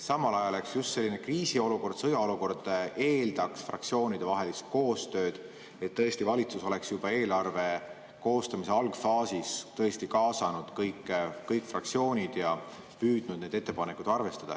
Samal ajal just selline kriisiolukord, sõjaolukord, eeldaks fraktsioonide koostööd, et valitsus oleks juba eelarve koostamise algfaasis tõesti kaasanud kõik fraktsioonid ja püüdnud neid ettepanekuid arvestada.